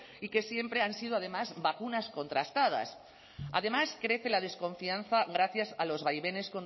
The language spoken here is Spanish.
y que siempre han sido además vacunas contrastadas además crece la desconfianza gracias a los vaivenes